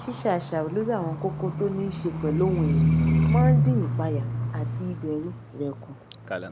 ṣíṣe àṣàrò lórí àwọn kókó tó ní í ṣe pẹlú ohun ẹmí máa ń dín ìpayà àti ìbèrù rè kù